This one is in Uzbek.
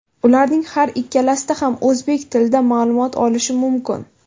Ularning har ikkalasida ham o‘zbek tilida ma’lumot olish mumkin.